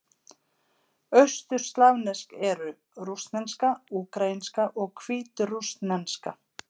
Austurslavnesk eru: rússneska, úkraínska og hvítrússneska.